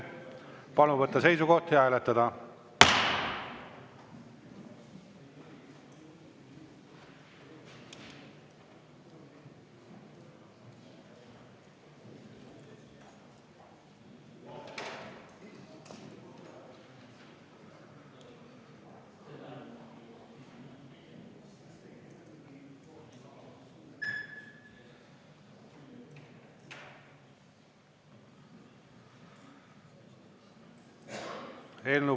Palun võtta seisukoht ja hääletada!